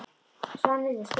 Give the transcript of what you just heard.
Svanhildur, spilaðu lag.